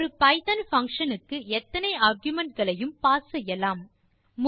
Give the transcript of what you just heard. ஒரு Python function க்கு எத்தனை argumentகளையும் பாஸ் செய்யலாம்